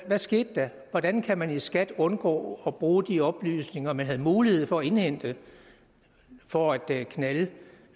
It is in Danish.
hvad skete der hvordan kan man i skat undgå at bruge de oplysninger man havde mulighed for at indhente for at knalde